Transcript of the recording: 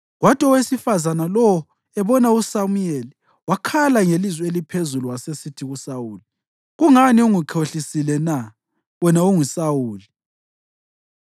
Kwathi owesifazane lowo ebona uSamuyeli, wakhala ngelizwi eliphezulu wasesithi kuSawuli, “Kungani ungikhohlisile na? Wena unguSawuli.”